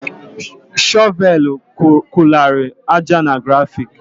Shọvel kugharịrị aja na gravụlụ.